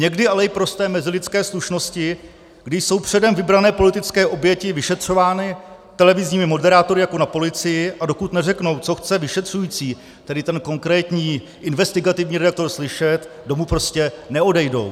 Někdy ale i prosté mezilidské slušnosti, kdy jsou předem vybrané politické oběti vyšetřovány televizními moderátory jako na policii, a dokud neřeknou, co chce vyšetřující, tedy ten konkrétní investigativní redaktor, slyšet, domů prostě neodejdou.